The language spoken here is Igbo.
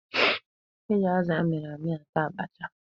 E ji azụ a mịrị amị ata abacha.